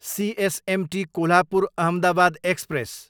CSMT Kolhapur, Ahmedabad express